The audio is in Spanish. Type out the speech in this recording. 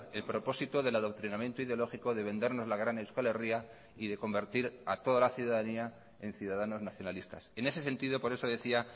el propósito del adoctrinamiento ideológico de vendernos la gran euskal herria y de convertir a toda la ciudadanía en ciudadanos nacionalistas en ese sentido por eso decía